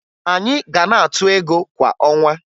Anyị ga na-atụ ego kwa ọnwa